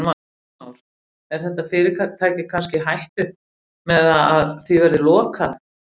Heimir Már: Er þetta fyrirtæki kannski í hættu með það að því verði lokað?